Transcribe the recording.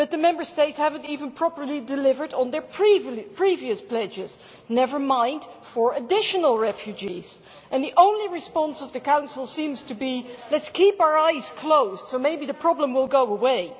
But the Member States have not even properly delivered on their previous pledges, never mind for additional refugees, and the only response of the Council seems to be let's keep our eyes closed and maybe the problem will go away.